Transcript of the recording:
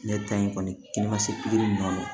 Ne ta in kɔni ma se pikiri ninnu